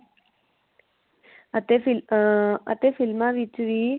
ਅਤੇ ਫ਼ਿਲ ਅਹ ਅਤੇ ਫ਼ਿਲਮਾ ਵਿਚ ਵੀ